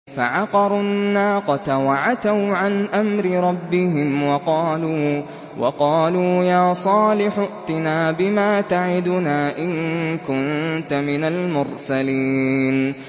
فَعَقَرُوا النَّاقَةَ وَعَتَوْا عَنْ أَمْرِ رَبِّهِمْ وَقَالُوا يَا صَالِحُ ائْتِنَا بِمَا تَعِدُنَا إِن كُنتَ مِنَ الْمُرْسَلِينَ